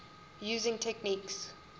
using techniques